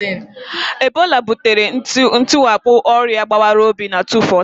Ebola butere ntiwapụ ọrịa gbawara obi na 2014.